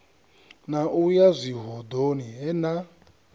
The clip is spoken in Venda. na u yazwihoḓoni he na